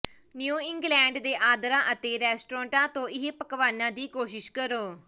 new England ਦੇ ਆਂਦਰਾਂ ਅਤੇ ਰੈਸਟੋਰਟਾਂ ਤੋਂ ਇਹ ਪਕਵਾਨਾਂ ਦੀ ਕੋਸ਼ਿਸ਼ ਕਰੋ